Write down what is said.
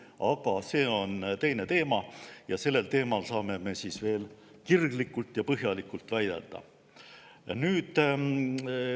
Aga see on teine teema ja sellel teemal saame me veel kirglikult ja põhjalikult vaielda.